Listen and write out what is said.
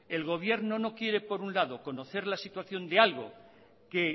el gobierno no quiere por un lado conocer la situación de algo que